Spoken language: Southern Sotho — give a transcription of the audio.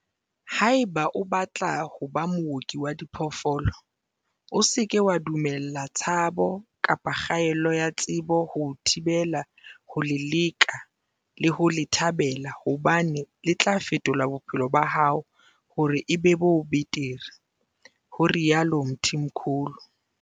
"Haeba o batla ho ba mooki wa diphoofolo, o se ke wa dumella tshabo kapa kgaello ya tsebo ho o thibela ho le leka le ho le thabela hobane le tla fetola bophelo ba hao hore e be bo betere," ho rialo Mthimkhulu.